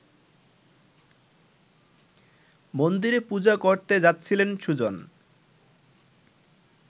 মন্দিরে পূজা করতে যাচ্ছিলেন সুজন